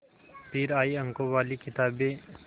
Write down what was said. फिर आई अंकों वाली किताबें